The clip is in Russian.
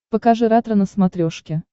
покажи ретро на смотрешке